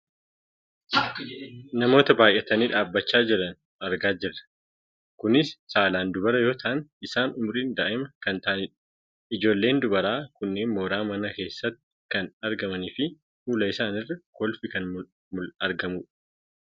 Namoota baayyatanii dhaabbachaa jiran argaa kan jirrudha. Kunis saalaan dubara yoo ta'an isaanis umuriin daa'ima kan ta'anidha. Ijoolleen dubaraa kunneen mooraa manaa keessatti kan argamaniifi fuula isaaniirra kolfi kan argamudha.